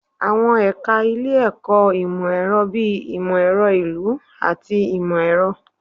Awọn ẹka ile-ẹkọ imọ-ẹrọ bii Imọ-ẹrọ Ilu ati Imọ-ẹrọ